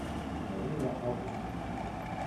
марина августовна